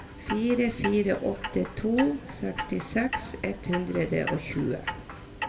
fire fire åtte to sekstiseks ett hundre og tjue